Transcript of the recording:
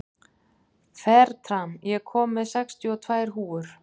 Fertram, ég kom með sextíu og tvær húfur!